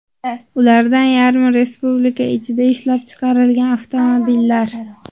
Ulardan yarmi – Respublika ichida ishlab chiqarilgan avtomobillar.